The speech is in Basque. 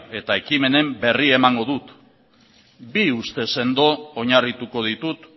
eta ekimenen berri emango dut bi uste sendo oinarrituko ditut